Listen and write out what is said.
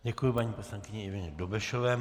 Děkuji paní poslankyni Ivaně Dobešové.